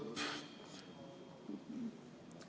Jah.